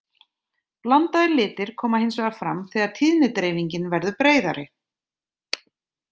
Blandaðir litir koma hins vegar fram þegar tíðnidreifingin verður breiðari.